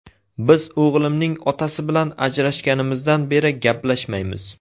Biz o‘g‘limning otasi bilan ajrashganimizdan beri gaplashmaymiz.